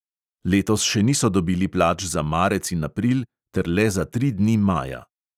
Letos še niso dobili plač za marec in april ter le za tri dni maja.